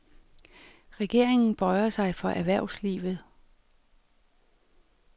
Regeringen bøjer sig for erhvervslivet.